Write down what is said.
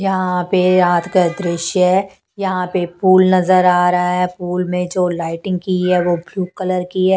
यहां पे रात का दृश्य है यहां पे फूल नजर आ रहा है फूल में जो लाइटिंग की है वो ब्लू कलर की है--